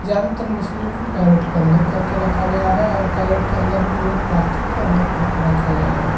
ज्यादातर मछलियों को कैरेट के अंदर करके रखा गया है और कैरेट के अंदर भी उन्हें प्लास्टिक के अंदर करके रखा गया है।